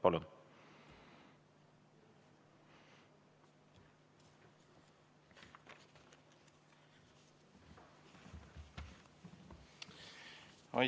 Palun!